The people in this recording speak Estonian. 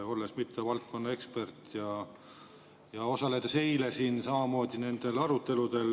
Ma ei ole valdkonna ekspert ja osalesin eile siin samamoodi nendel aruteludel.